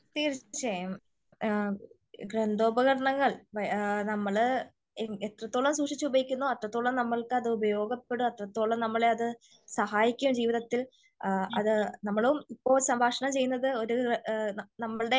തീർച്ചയായും ഗ്രന്ഥഉപകരണങ്ങൾ നമ്മള് എത്രത്തോളം സൂക്ഷിച്ച് ഉപയോഗിക്കുന്നോ അത്രത്തോളം നമുക്ക് അത് ഉപയോഗപ്പെടും അത്രത്തോളം സഹായിക്കും ജീവിതത്തിൽ നമ്മളും ഇപ്പോൾ സംഭാഷണം ചെയ്യുന്നത് ഒരു നമ്മളുടെ